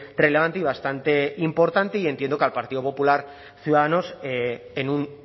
relevante y bastante importante y entiendo que al partido popular ciudadanos en un